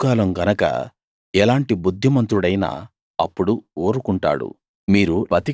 అది గడ్డుకాలం గనక ఎలాంటి బుద్దిమంతుడైనా అప్పుడు ఊరుకుంటాడు